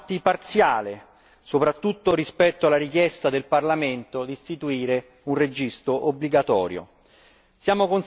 Ma un passo in avanti parziale, soprattutto rispetto alla richiesta del Parlamento di istituire un registro obbligatorio.